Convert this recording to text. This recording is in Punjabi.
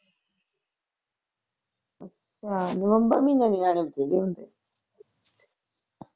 ਹਾਂ ਨਵੰਬਰ ਮਹੀਨੇ ਨਿਆਣੇ ਬਥੇਰੇ ਹੁੰਦੇ